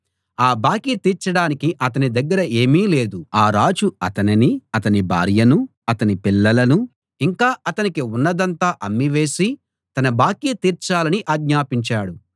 ఆ బాకీ తీర్చడానికి అతని దగ్గర ఏమీ లేదు ఆ రాజు అతనినీ అతని భార్యనూ అతని పిల్లలనూ ఇంకా అతనికి ఉన్నదంతా అమ్మివేసి తన బాకీ తీర్చాలని ఆజ్ఞాపించాడు